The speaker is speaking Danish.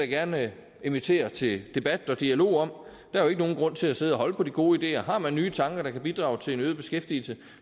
gerne invitere til debat og dialog om er jo ikke nogen grund til at sidde og holde på de gode ideer har man nye tanker der kan bidrage til en øget beskæftigelse